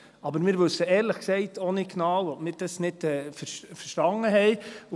Aber wir wissen, ehrlich gesagt, auch nicht genau, ob wir das nicht verstanden haben.